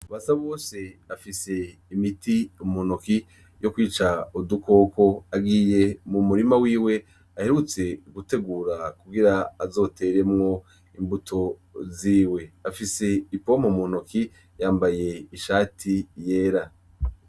BASABOSE afise imiti muntoke yo kwica udukoko, agiye mumurima wiwe aherutse gutegura kugira azoteremwo imbuto ziwe, afise ipompo muntoke, yambaye ishati yera.